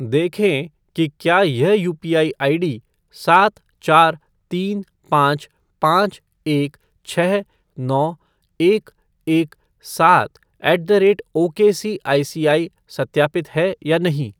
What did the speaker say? देखें कि क्या यह यूपीआई आईडी सात चार तीन पाँच पाँच एक छः नौ एक एक सात ऐट द रेट ओकेसीआईसीआई सत्यापित है या नहीं।